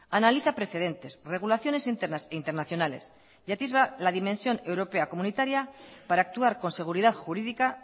analiza precedentes regulaciones internas e internacionales y atisba la dimensión europea comunitaria para actuar con seguridad jurídica